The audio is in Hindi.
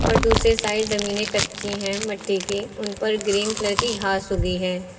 दूसरे साइड जमीनें कच्ची हैं मिट्टी की उन पर ग्रीन कलर की घास उगी है।